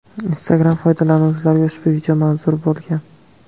Instagram foydalanuvchilariga ushbu video manzur bo‘lgan.